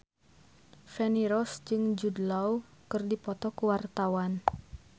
Feni Rose jeung Jude Law keur dipoto ku wartawan